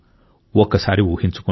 ఒక్కసారి ఊహించుకోండి